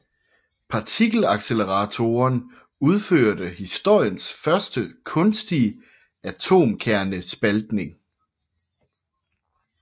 Partikelacceleratoren udførte historiens første kunstige atomkernespaltning